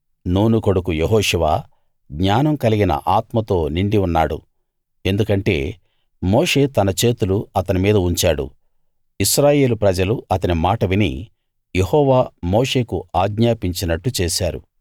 నూను కొడుకు యెహోషువ జ్ఞానం కలిగిన ఆత్మతో నిండి ఉన్నాడు ఎందుకంటే మోషే తన చేతులు అతని మీద ఉంచాడు ఇశ్రాయేలు ప్రజలు అతని మాట విని యెహోవా మోషేకు ఆజ్ఞాపించినట్టు చేశారు